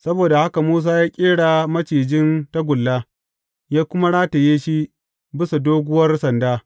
Saboda haka Musa ya ƙera macijin tagulla, ya kuma rataye shi bisa doguwar sanda.